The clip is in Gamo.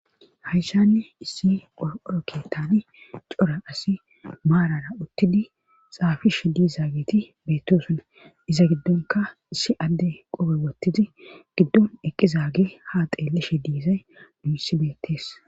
Hayshanne issi qor'oroke taani cora asi maarara uttidi xaafish diizaageti beettosuna iza giddonka issi adde qobe wottizi giddon eqqizaage ha xeeleshe diizay muysi beettees.